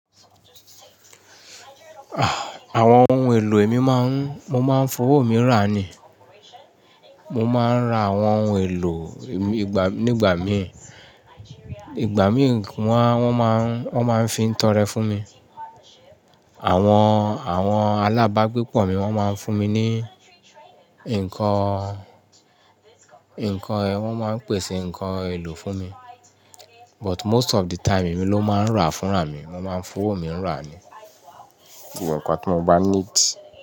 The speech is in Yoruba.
Àwọn ohun èlò èmi máa ń, mo máa ń fowó mi rà ni. Mo máa ń ra àwọn ohun èlò nígbà mi, ìgbà mí wọ́n máa ń fi ń tọrẹ fún mi. Àwọn, àwọn alábàágbépọ̀ mi wọ́n máa ń fún mi ní nǹkan, wọ́n máa ń pèsè nǹkan èlò fún mi. But most of the time èmi ló máa ń rà fúnra mi. Mo máa ń fowó mi rà ni. Ìgbà pẹ̀lú kí mo bá need.